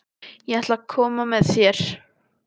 Ég ætla að koma með þér!